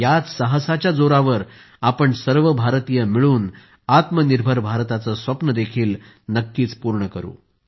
याच साहसाच्या जोरावर आपण सर्व भारतीय मिळून आत्मनिर्भर भारताचे स्वप्न देखील नक्की पूर्ण करू